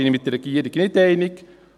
Da bin ich mit der Regierung nicht einig.